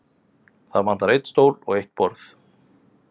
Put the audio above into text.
Það vantar einn stól og eitt borð.